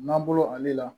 N'an bolo ale la